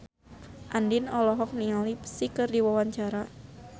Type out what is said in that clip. Andien olohok ningali Psy keur diwawancara